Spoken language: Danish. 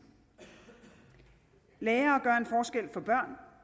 lærere gør